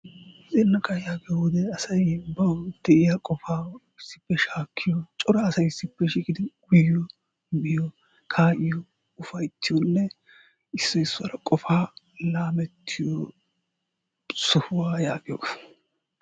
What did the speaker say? zannaqaa yaagiyoo wode asay bawu diyaa qofa issippe shaakkiyo, cora asay issippe shiiqidi uyiyo, miyiyo, kaa'iyo. ufayttiyoonne issoy issuwaara qofa laamettiyo sohuwa yaagiyoogaa.